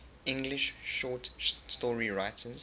english short story writers